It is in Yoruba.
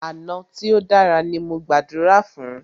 Àná tí o dára ní mo gbàdúrà fún.